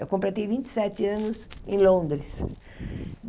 Eu completei vinte e sete anos em Londres.